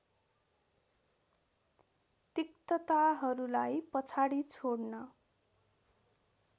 तिक्तताहरुलाई पछाडि छोड्न